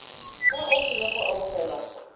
fa o sena go amogela